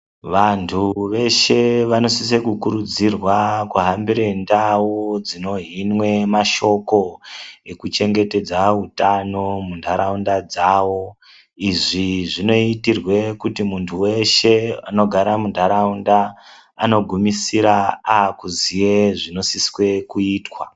Vantu veshe vanosisa kukurudzirwa kuhambira ndau dzinohinwe mashoko ekuchengetsedze utano munharaunda dzavo. Izvi zvinoitirwe kuti muntu veshe anogara munharaunda anogumisira akuziye zvinosiswe kuitwa.